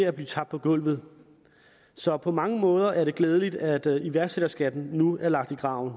at blive tabt på gulvet så på mange måder er det glædeligt at iværksætterskatten nu er lagt i graven